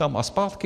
Tam a zpátky?